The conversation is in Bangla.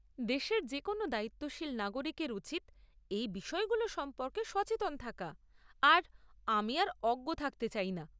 দেশের যেকোনও দায়িত্বশীল নাগরিকের উচিৎ এই বিষয়গুলো সম্পর্কে সচেতন থাকা, আর আমি আর অজ্ঞ থাকতে চাইনা।